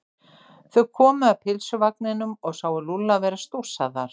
Þau komu að pylsuvagninum og sáu Lúlla vera að stússa þar.